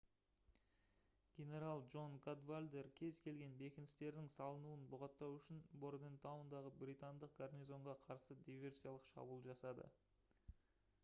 генерал джон кадвалдер кез-келген бекіністердің салынуын бұғаттау үшін бордентаундағы британдық гарнизонға қарсы диверсиялық шабуыл жасады